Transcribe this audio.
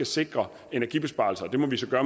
sikre energibesparelser det må vi så gøre